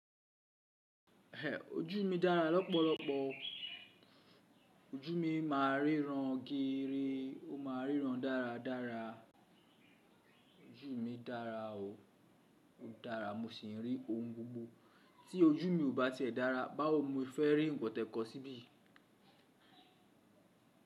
Ẹn, ojú mi dára lọ́pọ̀lọpọ̀ o. Ojú mi máa ń ríran gére, ó ma ríran dáradára. Ojú mi dára o, ó dára mo sì ń rí ohun gbogbo. Tí ojú mi ò bá tiẹ̀ dára, báwo mo fẹ fẹ́ rí ìwọ̀n tẹ̀kọ síbí?